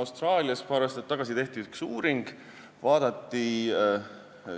Austraalias tehti paar aastat tagasi üks uuring, vaadati